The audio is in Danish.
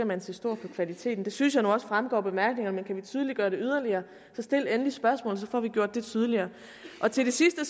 man se stort på kvaliteten det synes jeg nu også fremgår af bemærkningerne men kan vi tydeliggøre det yderligere så stil endelig spørgsmålet så får vi gjort det tydeligere til det sidste